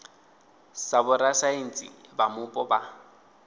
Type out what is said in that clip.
sa vhorasaintsi vha mupo vha